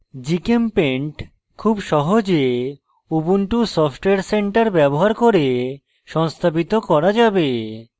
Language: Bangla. gchempaint খুব সহজে ubuntu সফটওয়্যার center ব্যবহার করে সংস্থাপিত করা যাবে